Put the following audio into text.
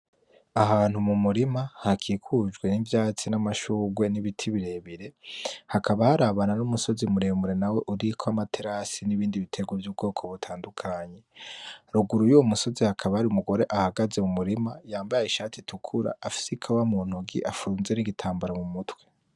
Ahantu mu murima hakikujwe n'ivyatsi, n'amashurwe, n'ibiti birebire hakaba harabana n'umusozi muremure nawo uriko amaterase, n'ibindi bitegwa vyubwoko butandukanye, ruguru yuwo musozi hakaba hari umugore ahagaze mu murima yambaye ishati itukura afise ikawa mu ntoki afunze nigi tambara mu mutwe.